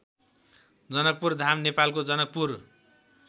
जनकपुरधाम नेपालको जनकपुर